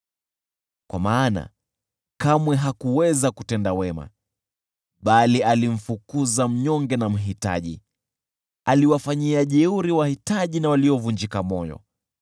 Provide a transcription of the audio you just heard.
Kwa maana kamwe hakuweza kutenda wema, bali alimfukuza mnyonge na mhitaji, aliwafanyia jeuri wahitaji na waliovunjika moyo.